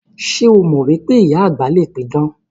Ṣé o mọ wípé ìyá àgbà le pidàn?